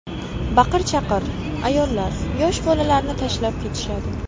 Baqir-chaqir, ayollar yosh bolalarini tashlab kelishadi.